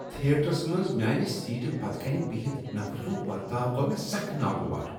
Theatres منٛز میانہِ سیٹہِ پتہٕ كَنہِ بِہتھ نفرٕ سُنٛد ورتاو گوٚو مےٚ سخ ناگوار۔